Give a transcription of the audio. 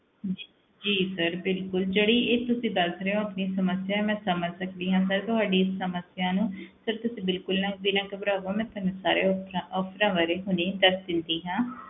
ਜੀ sir ਬਿਲਕੁਲ ਜਿਹੜੀ ਇਹ ਤੁਸੀਂ ਦੱਸ ਰਹੇ ਹੋ ਆਪਣੀ ਸਮੱਸਿਆ ਮੈਂ ਸਮਝ ਸਕਦੀ ਹਾਂ sir ਤੁਹਾਡੀ ਇਸ ਸਮੱਸਿਆ ਨੂੰ sir ਤੁਸੀਂ ਬਿਲਕੁਲ ਨਾ ਵੀ ਨਾ ਘਬਰਾਵੋ, ਮੈਂ ਤੁਹਾਨੂੰ ਸਾਰੇ options options ਬਾਰੇ ਹੁਣੇ ਹੀ ਦੱਸ ਦਿੰਦੀ ਹਾਂ।